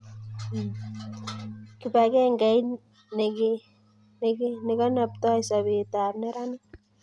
kibagengeit nekeneptoi sobeetab neranik